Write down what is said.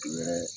U yɛrɛ